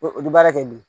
O bɛ baara kɛ bilen